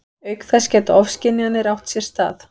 Auk þess geta ofskynjanir átt sér stað.